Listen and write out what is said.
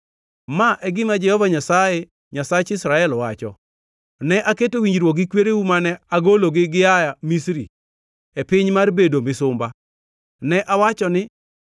“Ma e gima Jehova Nyasaye, Nyasach Israel, wacho: Ne aketo winjruok gi kwereu mane agologi gia Misri, e piny mar bedo misumba. Ne awacho ni,